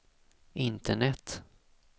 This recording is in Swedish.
internet